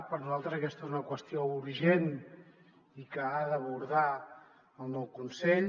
per nosaltres aquesta és una qüestió urgent i que ha d’abordar el nou consell